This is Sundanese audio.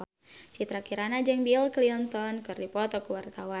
Citra Kirana jeung Bill Clinton keur dipoto ku wartawan